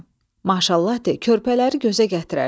Maşallah de, körpələri gözə gətirərsən.